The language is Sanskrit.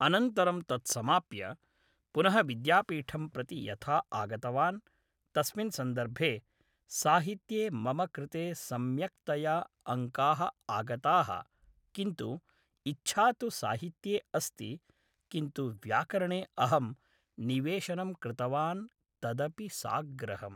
अनन्तरं तत् समाप्य पुनः विद्यापीठं प्रति यथा आगतवान् तस्मिन् सन्दर्भे साहित्ये मम कृते सम्यक्तया अङ्काः आगताः किन्तु इच्छा तु साहित्ये अस्ति किन्तु व्याकरणे अहम् निवेशनं कृतवान् तदपि साग्रहम्